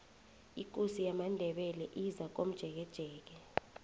ikosi yamandebele izakomjekejeke